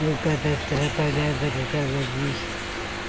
Deu cada trapalhada por causa disso.